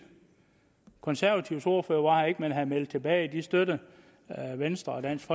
konservatives ordfører var her ikke men havde meldt tilbage at de støttede venstre og dansk